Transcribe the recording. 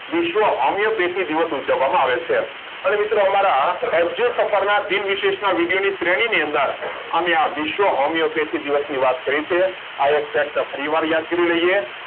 વિશ્વ હોમિયોપેથિક દિવસ ઉજવવામાં આવે છે અને મિત્રો એજ્યુ સફરના દિન વિશેષના વિદેની શ્રેણીની અંદર અમે આ વિશ્વ હોમિયોપેથિક દિવસની વાત કરી છે આ એક fact ફરીવાર યાદ કરી લઈએ